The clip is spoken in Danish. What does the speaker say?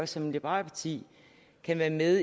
som liberalt parti kan være med